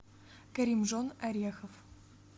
каримжон орехов